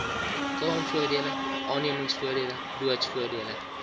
kraamvoordele aannemingsvoordele doodsvoordele